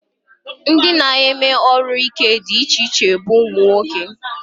Ndị na-eme ọrụ ike dị iche iche bụ ụmụnwoke